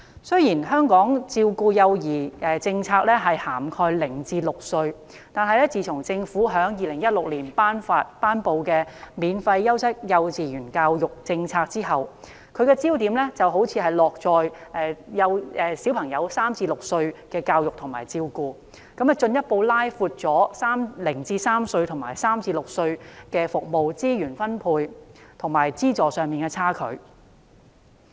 雖然香港照顧幼兒的政策涵蓋0至6歲，但自從政府在2016年頒布"免費優質幼稚園教育政策"後，其焦點好像落在3至6歲幼兒的教育及照顧服務，進一步拉闊了0至3歲與3至6歲服務在資源分配及資助上的差距。